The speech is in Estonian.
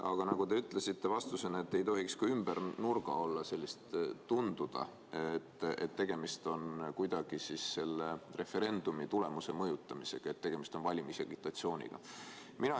Aga nagu te vastates ütlesite, ei tohiks olla sellist ümber nurga tegutsemist, ei tohi tunduda, et tegemist on kuidagi selle referendumi tulemuse mõjutamisega, agitatsiooniga.